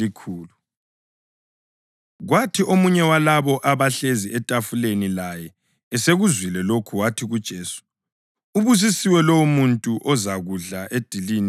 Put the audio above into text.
Kwathi omunye walabo abahlezi etafuleni laye esekuzwile lokhu, wathi kuJesu, “Ubusisiwe lowomuntu ozakudla edilini embusweni kaNkulunkulu.”